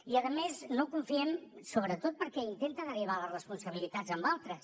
i a més no hi confiem sobretot perquè intenta derivar les responsabilitats en altres